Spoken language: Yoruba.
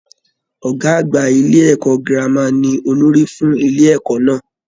Ọgá àgbà ilé ẹ̀kọ́ gírámà ní olórí fún ilé ẹ̀kọ́ náà.